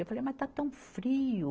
Eu falei, mas está tão frio.